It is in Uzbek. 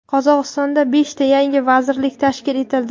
Qozog‘istonda beshta yangi vazirlik tashkil etildi.